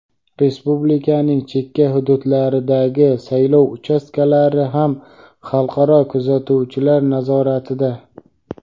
Respublikaning chekka hududlaridagi saylov uchastkalari ham xalqaro kuzatuvchilar nazoratida.